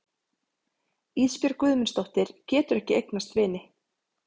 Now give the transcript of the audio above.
Ísbjörg Guðmundsdóttir getur ekki eignast vini.